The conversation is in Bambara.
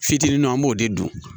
Fitininw an b'o de dun